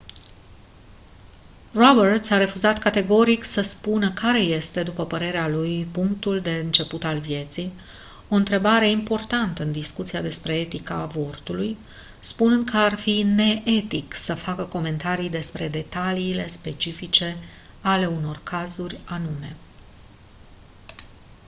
roberts a refuzat categoric să spună care este după părerea lui punctul de început al vieții o întrebare importantă în discuția despre etica avortului spunând că ar fi neetic să facă comentarii despre detaliile specifice ale unor cazuri anume